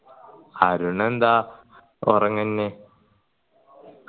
അരുണെന്ത ഉറങ്ങന്നെ